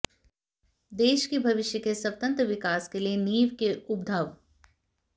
देश के भविष्य के स्वतंत्र विकास के लिए नींव के उद्भव